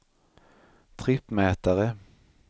trippmätare